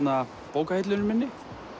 bókahillunni minni